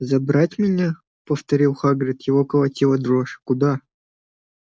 забрать меня повторил хагрид его колотила дрожь куда